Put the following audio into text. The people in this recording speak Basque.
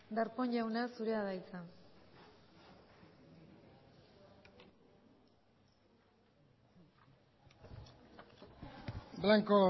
darpón jauna zurea da hitza blanco